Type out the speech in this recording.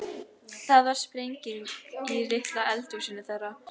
Það varð sprenging í litla eldhúsinu þeirra.